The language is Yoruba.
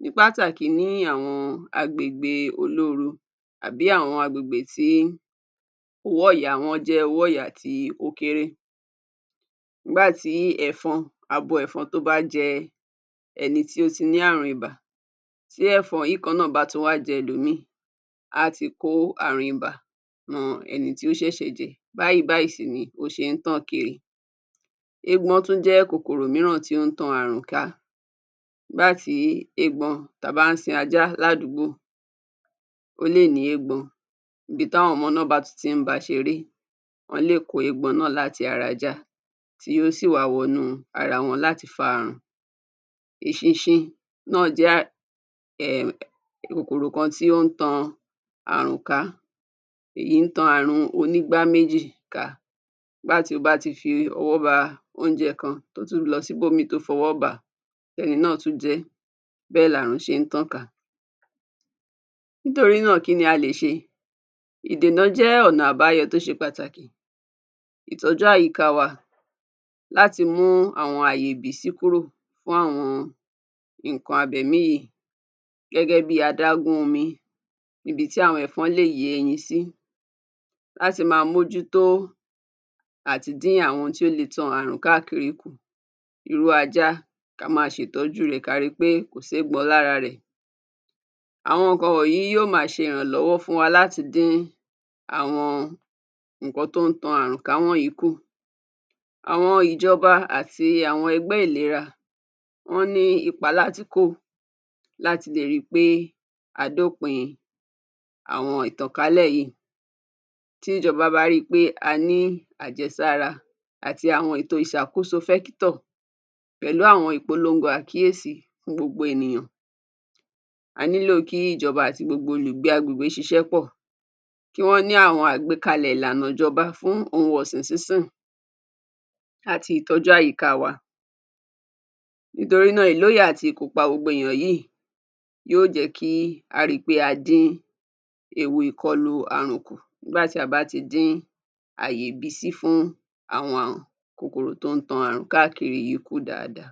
ní pàtàkì ní àwọn agbègbè olóoru àbí àwọn agbègbè tí owó ọ̀yà wọn jẹ́ owó ọ̀yà tí ó kéré. Nígbà tí ẹ̀fọn, abo ẹ̀fọn tó bá jẹ ẹni tí ó ti ní àrùn ibà, tí ẹ̀fọn yìí kan náà bá tún wá jẹ ẹlòmíì, á ti kó àrùn ibà ran eni tí ó ṣẹ̀ṣẹ̀ jẹ, báyìí báyìí sì ni ó ṣe ń tàn kiri. Eégbọn tún jẹ́ kòkòrò mìíràn tí ó ń tan àrùn ká. Nígbà tí eégbọn ta bá ń sin ajá ládùúgbò, ó lè ní eégbọn. Ibi táwọn ọmọ náà bá tún ti ń ba ṣeré, wọ́n lè kó eégbọn náà láti ara ajá tí yó sì wá wọnú ara wọn láti fa àrùn. Eṣinṣin náà jẹ́ um um kòkòrò kan tí ó ń tan àrùn ká. Èyí ń tan àrùn onígbáméjì ká nígbà tí ó bá ti fi ọwọ́ ba oúnjẹ kan, tó tún lọ síbòmíì tó fọwọ́ bà á, tẹ́ni náà tún jẹ ẹ́, bẹ́ẹ̀ làrùn ṣe ń tàn ká. Nítorí náà, kí ni a lè ṣe? Ìdènà jẹ́ ọ̀nà abáyọ tó ṣe pàtàkì. Ìtọ́jú àyíká wa láti mú àwọn ààyè ìbísí kúrò fún àwọn nǹkan abẹ̀mí yíì gẹ́gẹ́ bí adágún omi níbi tí àwọn ẹ̀fọn lè yé ẹyin sí. Láti máa mójútó àtidín àwọn ohun tí ó le tan àrùn káàkiri kù. Irú ajá ká máa sẹ̀tọ́jú rẹ̀. Ká ri pé kò séégbọn lára rẹ̀. Àwọn nǹkan wọ̀nyìí yó máa ṣe ìrànlọ́wọ́ fún wa láti dín àwọn nǹkan tó ń tan àrùn ká wọ̀nyìí kù. Àwọn ìjọba àti àwọn ẹgbẹ́ ìlera, wọ́n ní ipa láti kó láti lè ri pé a dópin àwọn ìtànkálẹ̀ yíì. Tí ìjọba bá rí i pé a ní àjẹsára àti àwọn ètò ìṣàkóso fẹ́kítọ̀ pẹ̀lú àwọn ìpolongo àkíyèsí fún gbogbo ènìyàn, a nílò kí ìjọba àti gbogbo olùgbé agbègbè ṣiṣẹ́ pọ̀, kí wọ́n ní àwọn àgbékalẹ̀ ìlànà ìjọba fún ohun ọ̀sìn sínsìn àti ìtọ́jú àyíká wa. Nítorí náà, ìlóye àti ìkópa gbogbo èèyàn yíì yó jẹ́ kí á ri pé a dín ewu ìkọlu àrùn kù nígbà tí a bá ti dín ààyè ìbísí fún àwọn kòkòrò tó ń tan àrùn káàkiri yìí kù dáadáa.